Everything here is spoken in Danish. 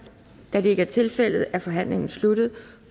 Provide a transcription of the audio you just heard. da det ikke er tilfældet er forhandlingen sluttet